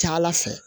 Ca ala fɛ